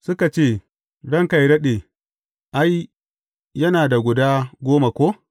Suka ce, Ranka yă daɗe, ai, yana da guda goma ko!’